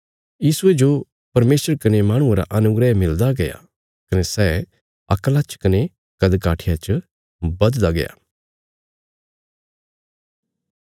यीशुये जो परमेशर कने माहणुआं रा अनुग्रह मिलदा गया कने सै अक्ला च कने कद काठिया च बधदा गया